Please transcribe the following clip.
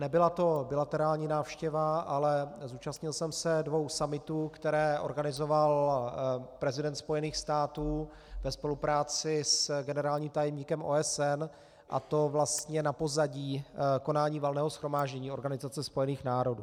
Nebyla to bilaterální návštěva, ale zúčastnil jsem se dvou summitů, které organizoval prezident spojených států ve spolupráci s generálním tajemníkem OSN, a to vlastně na pozadí konání Valného shromáždění Organizace spojených národů.